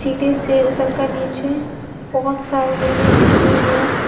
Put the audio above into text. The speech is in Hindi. सीढ़ी से उतर कर नीचे बोहोत सारी लेडीज खड़ी हुई हैं।